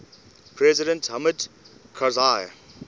president hamid karzai